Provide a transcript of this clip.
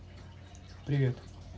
привет